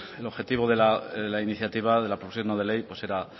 el objetivo de la iniciativa de la proposición no de ley pues será